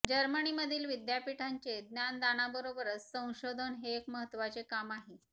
जर्मनीमधील विद्यापीठांचे ज्ञानदानाबरोबरच संशोधन हे एक महत्त्वाचे काम आहे